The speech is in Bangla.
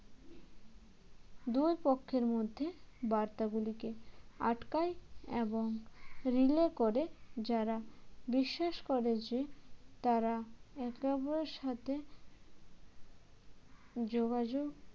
দুই পক্ষের মধ্যে বার্তাগুলিকে আটকায় এবং relay করে যারা বিশ্বাস করে যে তারা একে ওপরের সাথে যোগাযোগ